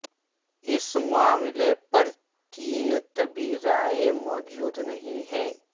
اس معاملے پر تین طبی رائے موجود نہیں ہیں